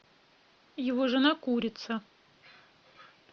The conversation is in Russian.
его жена курица